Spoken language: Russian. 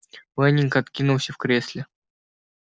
лэннинг откинулся в кресле